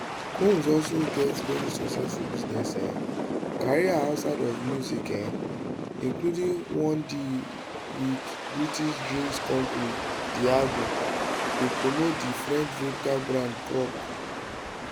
combs also get very successful business um career outside of music um including one deal wit british drinks company diageo to promote di french vodka brand croc